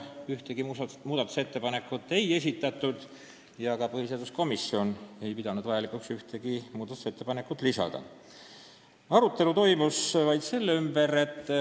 Ühtegi muudatusettepanekut ei esitatud ja ka põhiseaduskomisjon ei pidanud vajalikuks ühtegi ettepanekut teha.